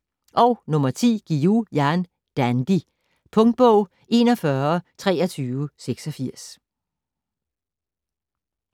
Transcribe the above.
Guillou, Jan: Dandy Punktbog 412386